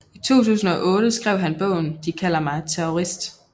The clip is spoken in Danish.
I 2008 skrev han bogen De kalder mig terrorist